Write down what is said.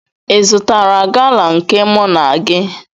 Ị zụtara gala nke mụ na gị?